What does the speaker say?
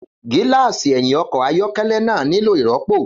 Gíláàsì ẹ̀yìn ọkọ̀ ayọ́kẹ́lẹ́ náà nílò ìrọ́pò.